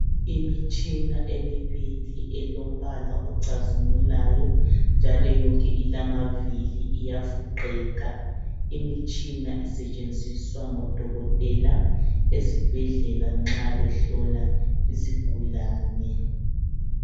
Imitshina emibili elombala ocazimulayo njalo yonke ilamavili iyafuqeka. Imitshina isetshenziswa ngodokotela esibhedlela nxa behlola izigulane.